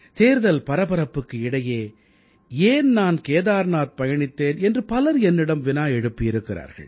தேர்தல் பரபரப்புக்கு இடையே ஏன் நான் கேதார்நாத் பயணித்தேன் என்று பலர் என்னிடம் வினா எழுப்பியிருக்கிறார்கள்